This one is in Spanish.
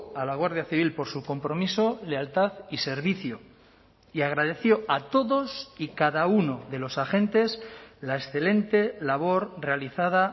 a la guardia civil por su compromiso lealtad y servicio y agradeció a todos y cada uno de los agentes la excelente labor realizada